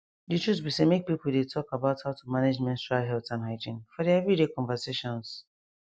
the truth be say make people dey talk about how to manage menstrual health and hygiene for their every day conversations